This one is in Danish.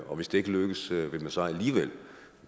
og hvis det ikke lykkes vil man så alligevel